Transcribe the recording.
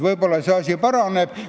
Võib-olla see asi paraneb.